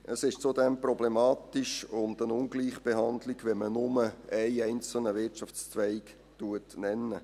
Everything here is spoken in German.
Es ist zudem problematisch und eine Ungleichbehandlung, wenn man nur einen einzelnen Wirtschaftszweig nennt.